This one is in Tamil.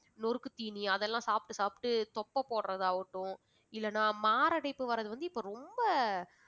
நொறுக்குத்தீனி அதெல்லாம் சாப்ட்டு சாப்ட்டு தொப்பை போடறதாவட்டும் இல்லனா மாரடைப்பு வர்றது வந்து இப்ப ரொம்ப